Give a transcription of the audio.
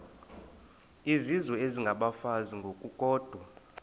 izizwe isengabafazi ngokukodwa